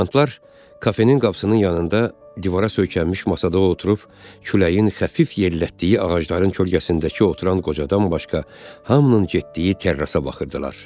Ofisiantlar kofenin qapısının yanında divara söykənmiş masada oturub küləyin xəfif yellətdiyi ağacların kölgəsindəki oturan qocadan başqa hamının getdiyi terrasa baxırdılar.